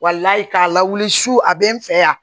k'a lawuli su a bɛ n fɛ yan